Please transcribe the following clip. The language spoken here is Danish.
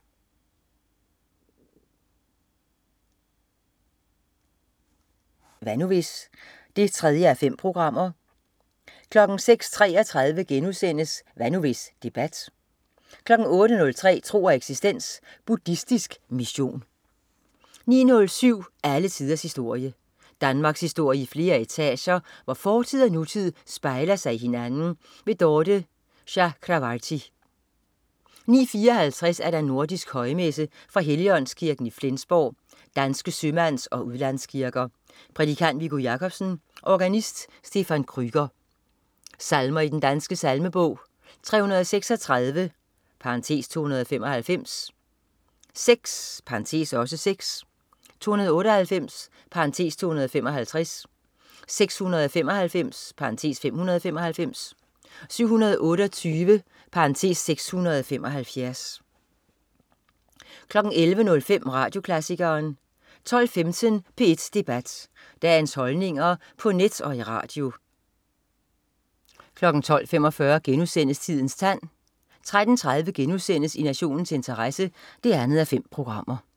09.07 Alle tiders historie. Danmarkshistorie i flere etager, hvor fortid og nutid spejler sig i hinanden. Dorthe Chakravarty 09.54 Nordisk højmesse. Fra Helligåndskirken, Flensborg, (Danske Sømands- og Udlandskirker). Prædikant: Viggo Jakobsen. Organist: Stephan Kreuger. Salmer i Den Danske salmebog: 336 (295), 6 (6), 298 (255), 695 (595), 728 (675) 11.05 Radioklassikeren 12.15 P1 Debat. Dagens holdninger på net og i radio 12.45 Tidens tand* 13.30 I nationens interesse 2:5*